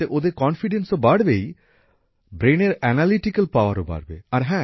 তাতে ওদের আস্থা তো বাড়বেই ব্রেনের অ্যানালিটিক্যাল পাওয়ারও বাড়বে